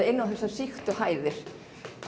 inn á þessar sýktu hæðir